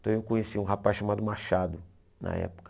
Então eu conheci um rapaz chamado Machado, na época.